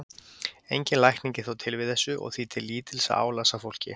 Engin lækning er þó til við þessu og því til lítils að álasa fólki.